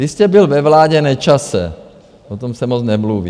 Vy jste byl ve vládě Nečase, o tom se moc nemluví.